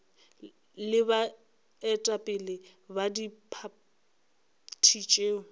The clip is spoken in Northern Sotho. le baetapele ba diphathi tšeo